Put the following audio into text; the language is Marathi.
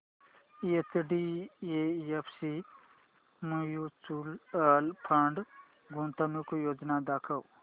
एचडीएफसी म्यूचुअल फंड गुंतवणूक योजना दाखव